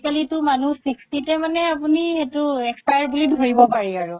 তো আজিকালিতো মানুহ sixty তে মানে আপুনি সেইটো expire বুলি ধৰিব পাৰি